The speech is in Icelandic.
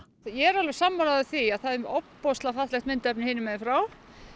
er alveg sammála því að það er ofboðslega fallegt myndefni hinum megin frá